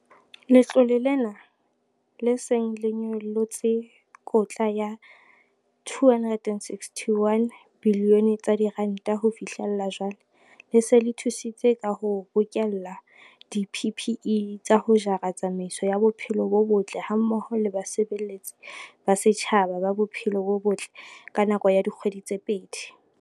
Letlole lena, le seng le nyollotse kotla ya R2.61 bilione ho fihlela jwale, le se le thusitse ka ho bokella di-PPE tsa ho jara tsamaiso ya bophelo bo botle hammoho le basebeletsi ba setjhaba ba bophelo bo botle ka nako ya dikgwedi tse pedi.